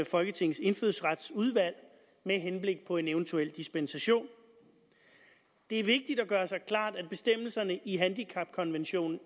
folketingets indfødsretsudvalg med henblik på en eventuel dispensation det er vigtigt at gøre sig klart at bestemmelserne i handicapkonventionen